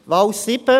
Wahl 7